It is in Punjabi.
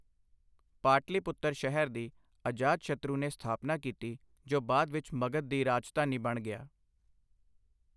ਪਾਟਲੀਪੁੱਤਰ ਸ਼ਹਿਰ ਦੀ ਅਜਾਤਸ਼ਤਰੂ ਨੇ ਸਥਾਪਨਾ ਕੀਤੀ ਜੋ ਬਾਅਦ ਵਿੱਚ ਮਗਧ ਦੀ ਰਾਜਧਾਨੀ ਬਣ ਗਿਆ।